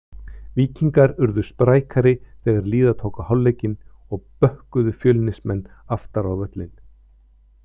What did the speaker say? Víkingar urðu sprækari þegar líða tók á hálfleikinn og bökkuðu Fjölnismenn aftar á völlinn.